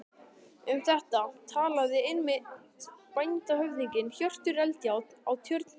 Um þetta talaði einmitt bændahöfðinginn Hjörtur Eldjárn á Tjörn, bróðir